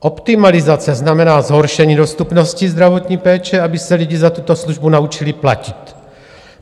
Optimalizace znamená zhoršení dostupnosti zdravotní péče, aby se lidi za tuto službu naučili platit.